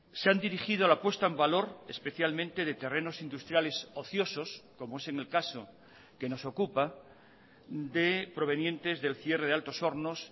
se han dirigido a la puesta en valor especialmente de terrenos industriales ociosos como es en el caso que nos ocupa de provenientes del cierre de altos hornos